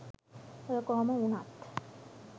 ඔය කොහොම වුණත්